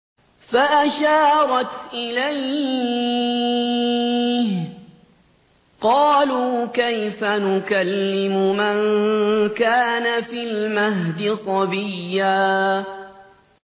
فَأَشَارَتْ إِلَيْهِ ۖ قَالُوا كَيْفَ نُكَلِّمُ مَن كَانَ فِي الْمَهْدِ صَبِيًّا